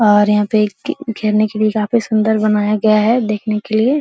और यहां पे एक खेलने के लिए काफी सुंदर बनाया गया है देखने के लिए --